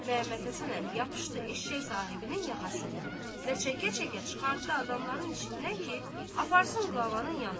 Məhəmmədhəsən əmi yapışdı eşşək sahibinin yaxasından və çəkə-çəkə çıxartdı adamların içindən ki, aparsın qlavanın yanına.